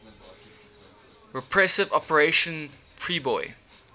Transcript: repressive operation priboi